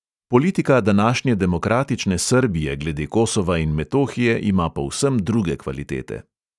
Politika današnje demokratične srbije glede kosova in metohije ima povsem druge kvalitete.